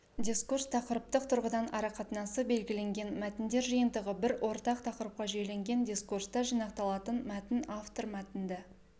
дискурс тақырыптық тұрғыдан арақатынасы белгіленген мәтіндер жиынтығы бір ортақ тақырыпқа жүйеленген дискурста жинақталатын мәтін автор мәтінді